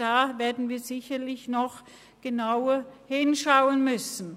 Da werden wir sicher noch genauer hinschauen müssen.